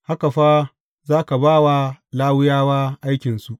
Haka fa za ka ba wa Lawiyawa aikinsu.